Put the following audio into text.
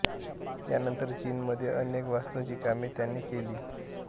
या नंतर चीन मध्ये अनेक वास्तूंची कामे त्याने केली